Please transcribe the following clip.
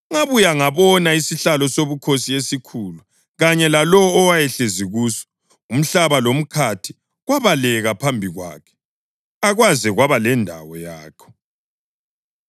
Ngabuya ngabona isihlalo sobukhosi esikhulu kanye lalowo owayehlezi kuso. Umhlaba lomkhathi kwabaleka phambi kwakhe, akwaze kwaba lendawo yakho.